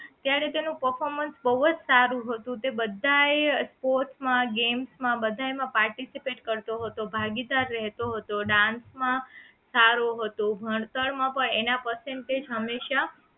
ત્યારે તેનું performance બહુજ સારું હતું તે બધાય Sports માં game માં participate કરતો હતો ભાગીદાર રહેતો હતો dance માં સારો હતો ભણતર માં પણ એના percentage હંમેશા